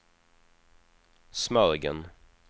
Smögen